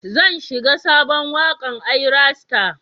Zan shiga sabon wakar Ayra star.